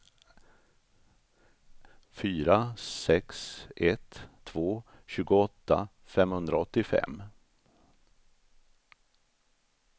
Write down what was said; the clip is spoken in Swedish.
fyra sex ett två tjugoåtta femhundraåttiofem